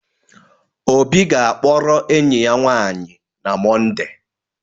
Obi ga-akpọrọ enyi ya nwanyị na Mọnde